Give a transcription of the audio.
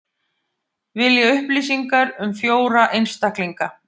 Vilja upplýsingar um fjóra einstaklinga